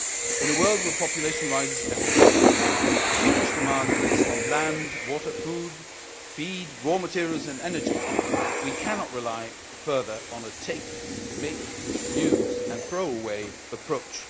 In a world where the population rises every day, with huge demands placed on land, water, food, feed, raw materials and energy, we cannot rely further on a take, make, use and throw away' approach.